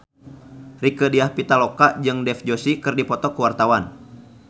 Rieke Diah Pitaloka jeung Dev Joshi keur dipoto ku wartawan